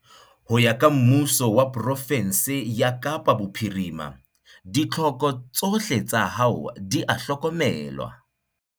Ho ya ka Mmuso wa pro-fensi ya Kapa Bophirima, ditlhoko tsohle tsa hao di a hlokomelwa.